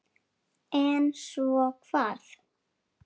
En svo hvað?